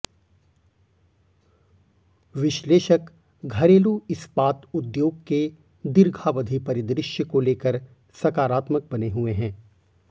विश्लेषक घरेलू इस्पात उद्योग के दीर्घावधि परिदृश्य को लेकर सकारात्मक बने हुए हैं